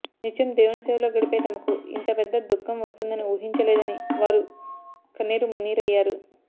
నిత్యం దేవుని సేవలో గడిపే తమకు ఇంత పెద్ద దుఖం వస్తుందని ఊహించలేదని వారు కన్నీరుమున్నీరయ్యారు